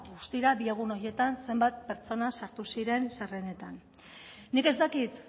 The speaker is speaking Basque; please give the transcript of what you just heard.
bi egun horietan zenbat pertsona sartu ziren zerrendetan nik ez dakit